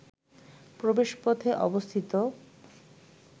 প্রবেশপথে অবস্থিত